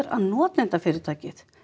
að notendafyrirtækið